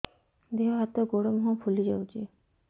ଦେହ ହାତ ଗୋଡୋ ମୁହଁ ଫୁଲି ଯାଉଛି